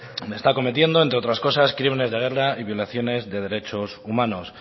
donde está cometiendo entre otras cosas crímenes de guerra y violaciones de derechos humanos